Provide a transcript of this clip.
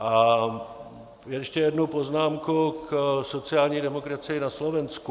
A ještě jednu poznámku k sociální demokracii na Slovensku.